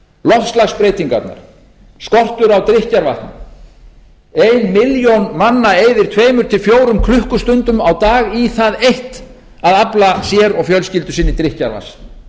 loftslagsbreytingarnar skortur á drykkjarvatni ein milljón manna eyðir tveimur til fjórum klukkustundum á dag í það eitt að afla sér og fjölskyldu sinni drykkjarvatns